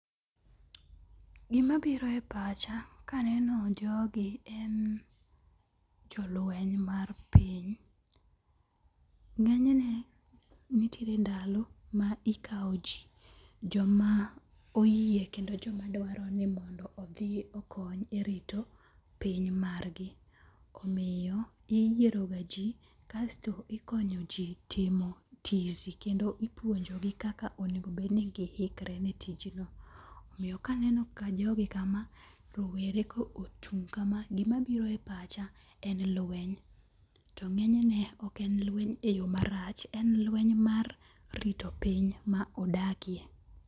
Gima biro e pacha kaneno jogi en jolweny mar piny. Ng'enyne nitiere ndalo ma ikawo ji. Joma oyie kendo joma dwaro ni mondo odhi okony e rito piny margi. Omiyo iyiero ga ji kasto ikonyo ji timo tizi kendo ipuonjogi kaka onego bed ni gihikre ne tijno. Omiya kaneno jogi kama, rowere ka ochung' kama, gima biro e pacha en lweny to ng'enyne ok enlweny e yo marach. En lweny mar rito piny ma odakie.